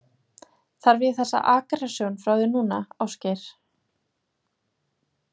Þarf ég þessa aggressjón frá þér núna, Ásgeir?